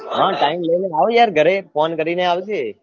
હા time લઈને આવ યાર ઘરે ફોન કરીને આવજે